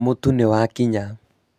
mũtu nĩ wakĩnya